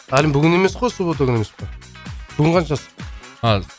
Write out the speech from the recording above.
әлім бүгін емес қой суббота күні емес па бүгін қаншасы а